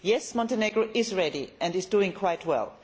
Yes, Montenegro is ready and is doing quite well.